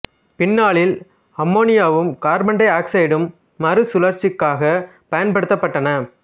பின்னாளில் அமோனியாவும் கார்பன் டை ஆக்சைடும் மறு சுழற்சிக்காகப் பயன்படுத்தப்பட்டன